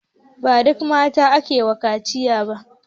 Ba duk mata ake wa kaciya ba.